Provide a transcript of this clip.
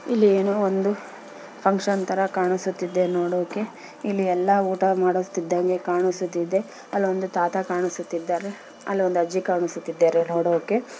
ಇಲ್ಲಿ ಏನೋ ಒಂದು ಫಂಕ್ಷನ್ ತರ ಕಾಣಸುತ್ತಿದೆ ನೋಡೋಕೆ ಇಲ್ಲಿ ಎಲ್ಲಾ ಊಟ ಮಾಡೋತಿದ್ದಂಗೆ ಕಾಣುಸುತ್ತಿದೆ ಅಲ್ಲೊಂದು ತಾತ ಕಾಣಿಸುತ್ತಿದ್ದಾರೆ ಅಲ್ಲೊಂದು ಅಜ್ಜಿ ಕಾಣುಸುತ್ತಿದ್ದಾರೆ ನೋಡೋಕೆ.